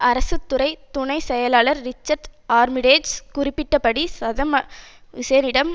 அரசு துறை துணை செயலர் ரிச்சார்ட் ஆர்மிடேஜ் குறிப்பிட்ட படி சதம் ஹூசேனிடம்